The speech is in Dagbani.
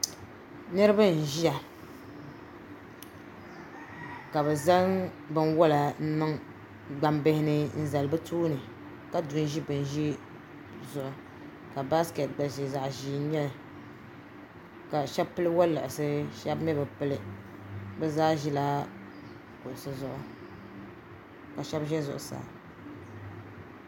Niriba n ziya ka bi zaŋ bini wola n niŋ gbaŋ bihi ni n zali bi tooni ka di n zi bini zihi zuɣu ka baaiketi gba ziya zaɣi zɛɛ n nyɛ li ka shɛba pili woliɣisi ka shɛba mi bi pili bi zaa zila kuɣusi zuɣu ka shɛba zɛ zuɣusaa.